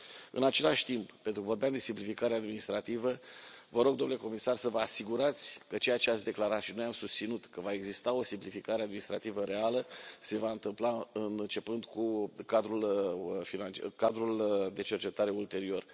În același timp, pentru că vorbeam de simplificare administrativă, vă rog, domnule comisar, să vă asigurați că ceea ce ați declarat și noi am susținut că va exista o simplificare administrativă reală se va întâmpla începând cu cadrul de cercetare ulterior.